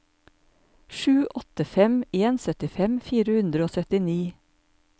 sju åtte fem en syttifem fire hundre og syttini